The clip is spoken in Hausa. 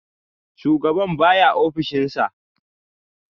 Shugaban baya a ofishinsa